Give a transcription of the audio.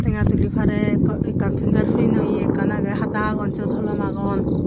tenga tuli parey eko ekkan finger prinoye ekkan agey hata agon siyot holom agon.